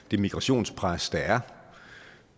det migrationspres der er